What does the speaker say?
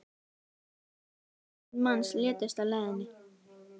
um tuttugu þúsund manns létust á leiðinni